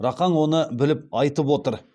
рақаң оны біліп айтып отыр